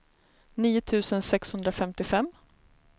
nio tusen sexhundrafemtiofem